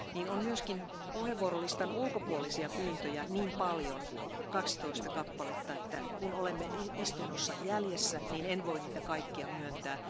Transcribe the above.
Meillä on myös puheenvuorolistan ulkopuolisia pyyntöjä niin paljon, 12 kappaletta, että koska olemme istunnossa jäljessä, en voi niitä kaikkia myöntää.